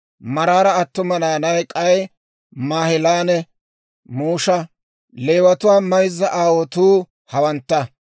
Maraara attuma naanay k'ay Maahilanne Musha. Leewatuwaa mayzza aawotuu hawantta.